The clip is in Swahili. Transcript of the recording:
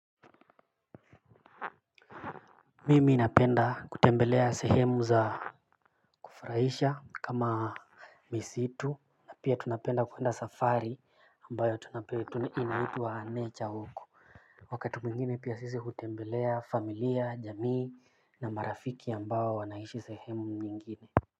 Mimi napenda kutembelea sehemu za kufuraisha kama misitu na pia tunapenda kwenda safari ambayo tuna inaitwa nature huko wakati mwingine pia sisi hutembelea familia, jamii na marafiki ambao wanaishi sehemu nyingine.